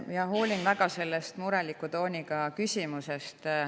Ma hoolin väga sellest mureliku tooniga küsimusest.